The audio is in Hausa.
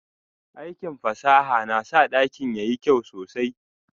Aikin fasaha na sa dakin yayi kyau sosai.